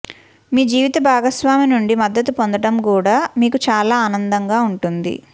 మీ జీవిత భాగస్వామి నుండి మద్దతు పొందడం కూడా మీకు చాలా ఆనందంగా ఉంటుంది